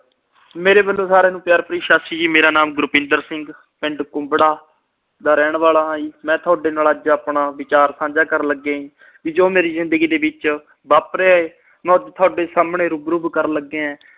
ਮੇਰੇ ਵੱਲੋਂ ਸਾਰਿਆਂ ਨੂੰ ਪਿਆਰ ਭਰੀ ਸਤਿ ਸ੍ਰੀ ਅਕਾਲ ਜੀ। ਮੇਰਾ ਨਾਮ ਗੁਰਵਿੰਦਰ ਸਿੰਘ, ਪਿੰਡ ਕੁੰਬੜਾ ਦਾ ਰਹਿਣ ਵਾਲਾ ਆ ਜੀ। ਮੈਂ ਅੱਜ ਤੁਹਾਡੇ ਨਾਲ ਆਪਣਾ ਵਿਚਾਰ ਸਾਂਝਾ ਕਰਨ ਲੱਗਿਆ ਜੀ। ਜੋ ਮੇਰੀ ਜਿੰਦਗੀ ਦੇ ਵਿੱਚ ਵਾਪਰਿਆ ਆ, ਮੈਂ ਤੁਹਾਡੇ ਸਾਹਮਣੇ ਰੂ-ਬ-ਰੂ ਕਰਨ ਲੱਗਿਆ।